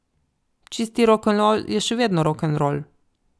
Čisti rokenrol je še vedno rokenrol.